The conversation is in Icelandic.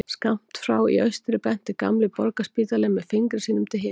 Skammt frá í austri benti gamli Borgarspítalinn með fingri sínum til himins.